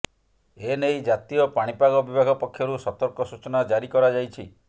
ଏନେଇ ଜାତୀୟ ପାଣିପାଗ ବିଭାଗ ପକ୍ଷରୁ ସତର୍କ ସୂଚନା ଜାରି କରାଯାଇଛି